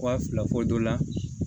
Wa fila fɔ dɔ la